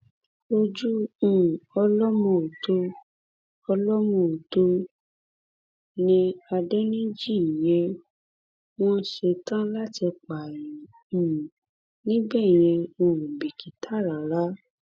ojú um ọlọmọòtó ọlọmọòtó ni adẹnìjì yẹn wọn ṣetán láti pààyàn um níbẹ yẹn wọn ò bìkítà rárá